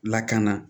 Lakana